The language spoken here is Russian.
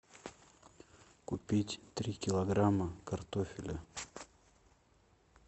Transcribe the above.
купить три килограмма картофеля